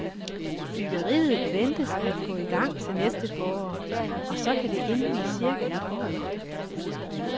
Byggeriet ventes at gå i gang til næste forår, og så kan det indvies cirka et år efter.